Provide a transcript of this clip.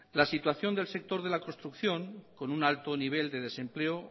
la situación del sector de la construcción con un alto nivel de desempleo